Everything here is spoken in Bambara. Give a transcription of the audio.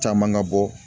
Caman ŋa bɔ